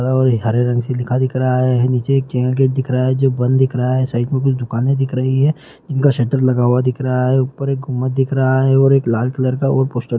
और एक हरे रंग से लिखा दिख रहा है निचे एक चैन गेट दिखा रहा है जो बंद दिख रहा है साइड में कुछ दुकाने दिख रही है जिनका शटर लगा हुआ दिख रहा है ऊपर एक गुम्बद दिख रहा है और एक लाल कलर का और एक पोस्टर --